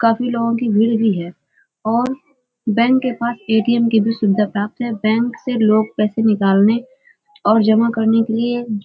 काफी लोगों की भीड़ भी है और बैंक के साथ ए.टी.एम की भी सुविधा प्राप्त है। बैंक से लोग पैसे निकालने और जमा करने के लिए --